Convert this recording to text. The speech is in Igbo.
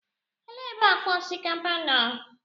Elee ebe akpa osikapa nọ?